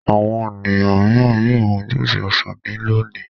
Àwọn ènìyàn mìíràn yóò mu júúsì ọsàn ní lónìí.